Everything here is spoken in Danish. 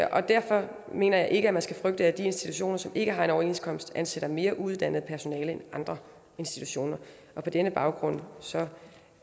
og derfor mener jeg ikke at man skal frygte at de institutioner som ikke har en overenskomst ansætter mere uuddannet personale end andre institutioner på denne baggrund